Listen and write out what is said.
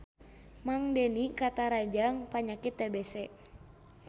Mang Deni katarajang panyakit TBC